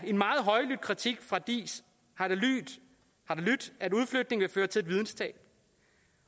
en meget højlydt kritik fra diis har det lydt at udflytningen vil føre til et videnstab